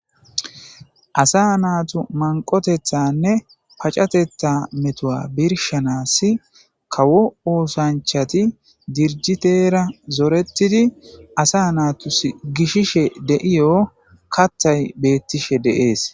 asa natu manqotethanne pacateththa metuwa birshanas kawo oosanchati dirjiteera zoretidi asa naatus gishishe de7iya lo7o kathay bettishe de7ees.